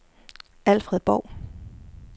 Alfred Borg